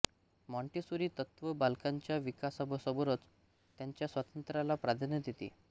Montessori तत्त्व बालकांच्या विकासाबरोबरच त्यांच्या स्वातंत्र्याला प्राधान्य देते